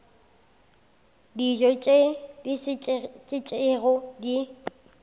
dijo tše di šetšego di